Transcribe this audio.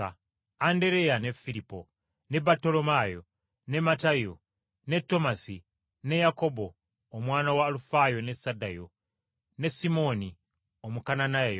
Andereya, ne Firipo, ne Battolomaayo, ne Matayo, ne Tomasi, ne Yakobo, omwana wa Alufaayo ne Saddayo, ne Simooni, Omukananaayo,